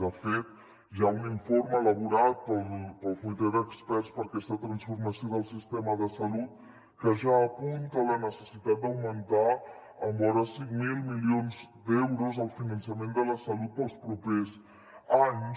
de fet hi ha un informe elaborat pel comitè d’experts per a aquesta transformació del sistema de salut que ja apunta la necessitat d’augmentar amb vora cinc mil milions d’euros el finançament de la salut per als propers anys